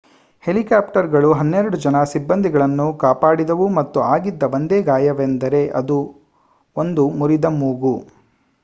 ಹೆಲಿಕಾಪ್ಟರ್‌ಗಳು ಹನ್ನೆರಡು ಜನ ಸಿಬ್ಬಂದಿಗಳನ್ನು ಕಾಪಾಡಿದವು ಮತ್ತು ಆಗಿದ್ದ ಒಂದೇ ಗಾಯವೆಂದರೆ ಒಂದು ಮುರಿದ ಮೂಗು